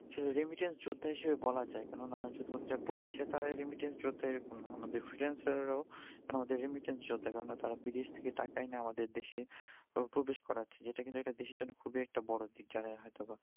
remittance যোদ্ধা হিসেবে বলা যাই, কেননা শুধুমাত্র যারা প্রবাসি তারা remittance যোদ্ধা এরকম না, আমাদের freelancer রাও কেননা remittance যোদ্ধা বিদেশ থেকে টাকা এনে আমাদের দেশে প্রবেশ করাচ্ছে, যেটা কিন্তু এটা দেশের জন্য খুবি একটা বড় দিক কিন্তু